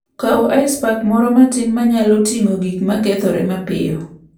Kaw ice pack moro matin ma nyalo ting'o gik ma kethore mapiyo.